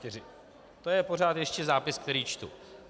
To je pořád ještě zápis, který čtu.